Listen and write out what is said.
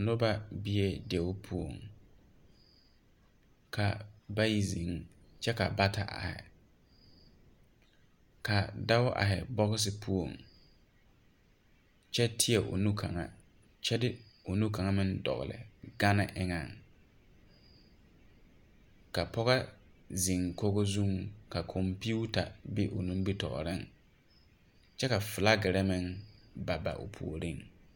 Noba bee deu poɔŋ ka bayi zeŋ kyɛ ka bata aihi ka dau aihi bɔxi poɔŋ kyɛ tēɛ o nu kyɛ de o nu kaŋa meŋ dɔgle gane eŋɛŋ ka poge zeŋ kogi zuiŋ ka kɔmpiuta be o nimitooreŋ kyɛ ka flakere meŋ ba ba o puoriŋ.